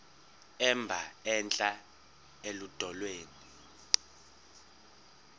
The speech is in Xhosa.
emba entla eludongeni